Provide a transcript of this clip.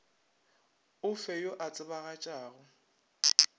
o fe yo a tsebagatšago